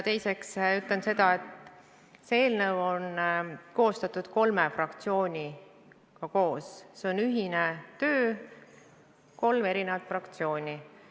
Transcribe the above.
Teiseks ütlen seda, et see eelnõu on kolme fraktsiooni koostatud, see on ühine töö – kolm eri fraktsiooni.